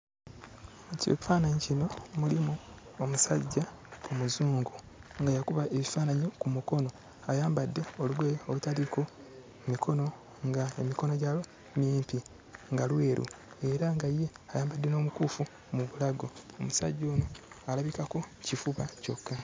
Ekifaananyi kino mulimu omusajja Omuzungu nga yakuba ebifaananyi ku mukono. Ayambadde olugoye olutaliiko mikono, ng'emikono gyalwo mimpi, nga lweru era nga ye ayambadde omukuufu mu bulago. Omusajja ono alabikako kifuba kyokka.